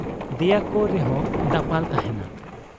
ᱫᱮᱭᱟᱠᱚ ᱨᱮᱦᱚᱸ ᱫᱟᱯᱟᱞ ᱛᱟᱦᱮᱸᱱᱟ